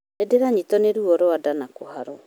Nĩndĩranyitwo nĩ ruo rwa nda na kũharwo